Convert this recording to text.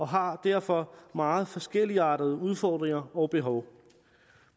har derfor meget forskelligartede udfordringer og behov